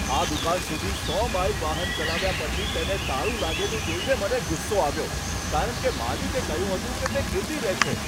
આ દુકાન સુધી સો માઈલ વાહન ચલાવ્યા પછી તેને તાળું લાગેલું જોઈને મને ગુસ્સો આવ્યો, કારણ કે માલિકે કહ્યું હતું કે તે ખુલ્લી રહેશે.